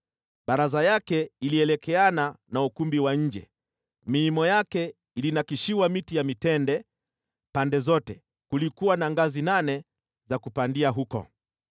Baraza yake ilielekeana na ukumbi wa nje, miimo yake ilinakshiwa miti ya mitende pande zote, kulikuwa na ngazi nane za kupandia huko.